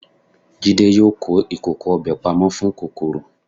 Jídé yóò kó ìkòkò ọbẹ̀ pamọ́ fún kòkòrò.